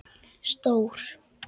Stór